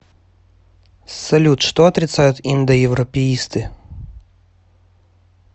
салют что отрицают индоевропеисты